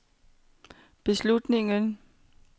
beslutningen